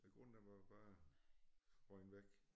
Æ grund den var bare røget væk